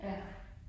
Ja